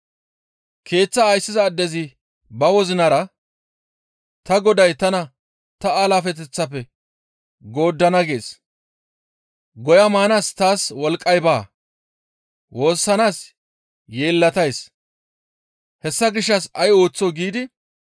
«Keeththaa ayssiza addezi ba wozinara, ‹Ta goday tana ta alaafeteththaafe gooddana gees; goya maanaas taas wolqqay baa; woossanaas yeellatays; hessa gishshas ay ooththoo?› giidi,